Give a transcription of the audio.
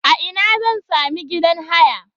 A ina zan sami gidan haya?